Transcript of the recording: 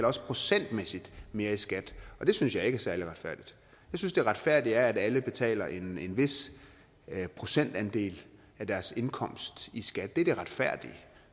også procentmæssigt mere i skat og det synes jeg ikke er særlig retfærdigt jeg synes det retfærdige er at alle betaler en vis procentandel af deres indkomst i skat det er det retfærdige